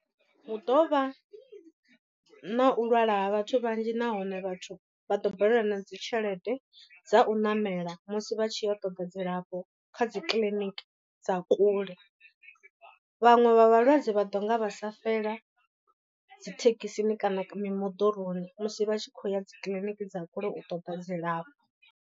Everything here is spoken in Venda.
Hu ḓo vha na u lwala ha vhathu vhanzhi nahone vhathu vha ḓo balelwa na dzi tshelede dza u ṋamela musi vha tshiya u ṱoda dzilafho kha dzi kiḽiniki dza kule. Vhaṅwe vha vhalwadze vha ḓo nga vha sa fela dzithekhisini kana mi moḓoroni musi vha tshi khou ya dzi kiḽiniki dza kule u ṱoḓa dzilafho.